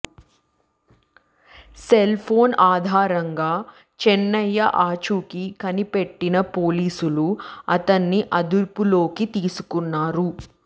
cell phone ఆధారంగా చెన్నయ్య ఆచూకీ కనిపెట్టిన పోలీసులు అతన్ని అదుపులోకి తీసుకున్నారు